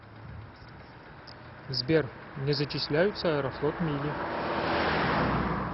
сбер не зачисляются аэрофлот мили